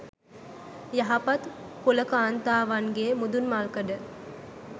යහපත් කුල කාන්තාවන්ගේ මුදුන්මල්කඩ